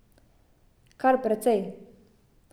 Kar precej.